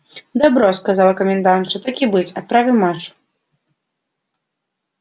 добро сказала комендантша так и быть отправим машу